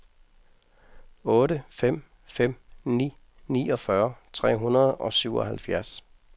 otte fem fem ni niogfyrre tre hundrede og syvoghalvfjerds